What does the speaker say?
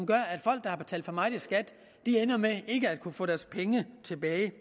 gør at folk der har betalt for meget i skat ender med ikke at kunne få deres penge tilbage